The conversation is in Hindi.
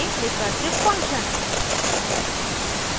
recursive function